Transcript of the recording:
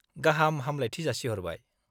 -गाहाम हामब्लायथि जासिहरबाय।